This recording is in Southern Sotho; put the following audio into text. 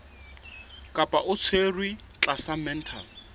kapa o tshwerwe tlasa mental